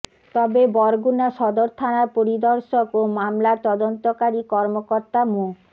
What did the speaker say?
তবে বরগুনা সদর থানার পরির্দশক ও মামলার তদন্তকারী কর্মকর্তা মো